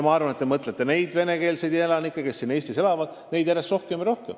Ma arvan, et te mõtlesite neid venekeelseid elanikke, kes siin Eestis elavad.